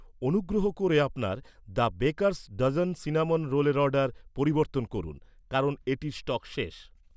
অনুগ্রহ করে, আপনার দ্য বেকার'স্ ডজন সিনামন রোলের অর্ডার পরিবর্তন করুন। কারণ এটির স্টক শেষ